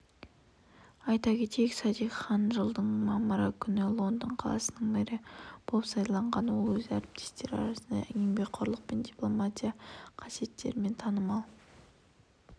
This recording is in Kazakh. айта кетейік садик хан жылдың мамыры күні лондон қаласының мэрі болып сайланған ол өз әріптестері арасында еңбекқорлық және дипломатиялық қасиетімен танымал